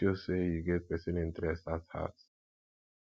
e de show say you get persin interest at heart